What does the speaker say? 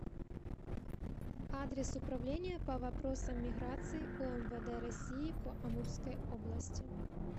адрес управление по вопросам миграции умвд россии по амурской области